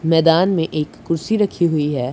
मैदान में एक कुर्सी रखी हुई है।